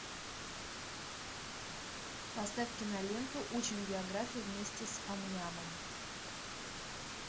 поставь киноленту учим географию вместе с ам нямом